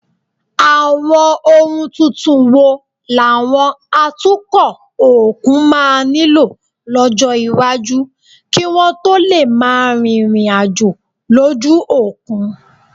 Àwọn ohun tuntun wo làwọn atukọ̀ òkun máa nílò lọ́jọ́ iwájú kí wọ́n tó lè máa rìnrìn àjò lójú òkun?